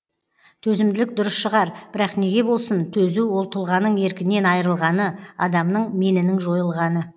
төзімділік дұрыс шығар бірақ неге болсын төзу ол тұлғаның еркінен айырылғаны адамның менінің жойылғаны